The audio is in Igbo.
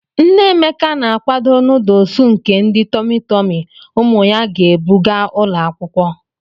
Nne Emeka na-akwado nọdụlsụ nke ndi tọmị tọmị ụmụ ya ga-ebu gaa ụlọ akwụkwọ.